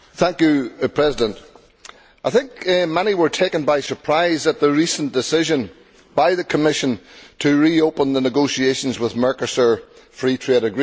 Mr President, I think many were taken by surprise at the recent decision by the Commission to reopen the negotiations with Mercosur on a free trade agreement.